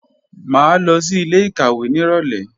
Mà á lọ sí ilé-ìkàwé nírọ̀lé